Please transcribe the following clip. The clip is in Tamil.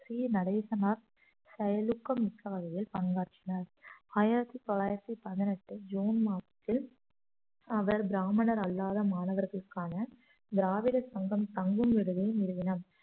சி நடேசனார் செயலுக்கு மிக்க வகையில் பங்காற்றினார் ஆயிரத்தி தொள்ளாயிரத்தி பதினெட்டு ஜூன் மாதத்தில் அவர் பிராமணர் அல்லாத மாணவர்களுக்கான திராவிட சங்கம் தங்கும் விடுதியை நிறுவனார்